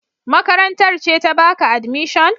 Makarantar ce ta baka admission?